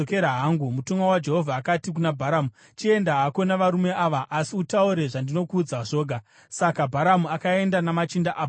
Mutumwa waJehovha akati kuna Bharamu, “Chienda hako navarume ava, asi utaure zvandinokuudza zvoga.” Saka Bharamu akaenda namachinda aBharaki.